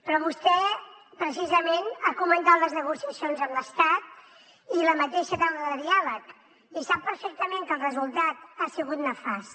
però vostè precisament ha comandat les negociacions amb l’estat i la mateixa taula de diàleg i sap perfectament que el resultat ha sigut nefast